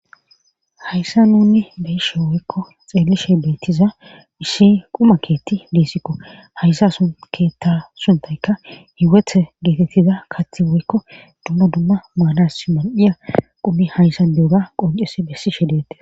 hayssa nunni beyishe woykko xeellishey beettiza ishshi quma keetti diesikko hayssa sun keetta suntayka hiweth geetettiza kath woykko dumma dumma maanas mar7iya qumi hayssa bi7ora qonces bessi shedeete